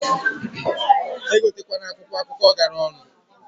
Egote kwana akwụkwọ akụkọ gara onu.